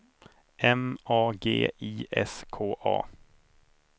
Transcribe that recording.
M A G I S K A